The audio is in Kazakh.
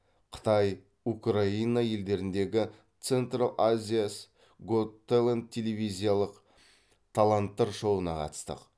қытай украина елдеріндегі центрл азияс гот тэлэнт телевизиялық таланттар шоуына қатыстық